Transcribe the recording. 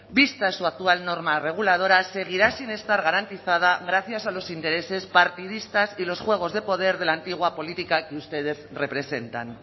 vista su actual norma reguladora seguirá sin estar garantizada gracias a los intereses partidistas y los juegos de poder de la antigua política que ustedes representan